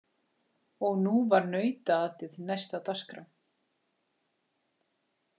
Og nú var nautaatið næst á dagskrá.